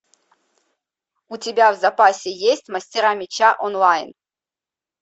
у тебя в запасе есть мастера меча онлайн